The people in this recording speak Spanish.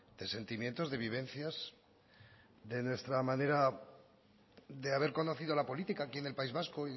de sentimientos de vivencias de nuestra manera de haber conocido la política aquí en el país vasco